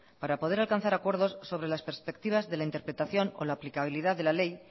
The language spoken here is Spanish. para poder alcanzar acuerdos sobre las perspectivas de la interpretación o la aplicabilidad de la ley